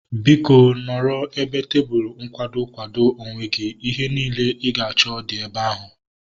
Biko, nọrọ ebe tebụlu nkwado kwado onwe gị. Ihe niile ị ga-achọ dị ebe ahu